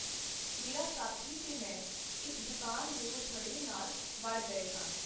ਮੇਰਾ ਸਾਥੀ ਤੇ ਮੈਂ ਇਕ ਦੁਕਾਨ ਦਿਓ ਥੜੇ ਨਾਲ ਵੜ ਗਏ ਸਾਂ.